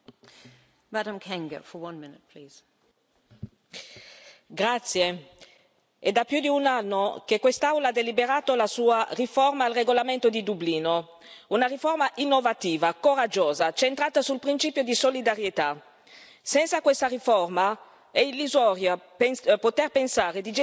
Signora Presidente, onorevoli colleghi, è da più di un anno che quest'Aula ha deliberato la sua riforma al regolamento di Dublino, una riforma innovativa, coraggiosa, centrata sul principio di solidarietà. Senza questa riforma è illusorio poter pensare di gestire il fenomeno migratorio.